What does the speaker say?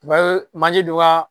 manje dɔ ka